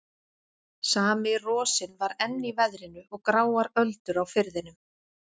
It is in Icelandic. Sami rosinn var enn í veðrinu og gráar öldur á firðinum.